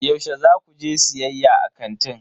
Yaushe za ku je siyayya a kanti?